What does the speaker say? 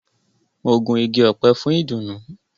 Mo gun ìgi ọpẹ fún idunu.